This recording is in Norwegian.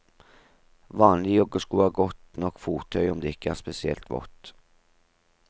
Vanlige joggesko er godt nok fottøy om det ikke er spesielt vått.